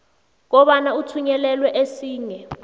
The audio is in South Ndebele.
kobana uthunyelelwe esinye